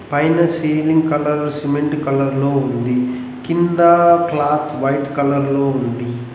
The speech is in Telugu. పైన సీలింగ్ కలర్ సిమెంట్ కలర్ లో ఉంది కిందా క్లాత్ వైట్ కలర్ లో ఉంది.